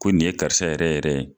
Ko nin ye karisa yɛrɛ yɛrɛ ye.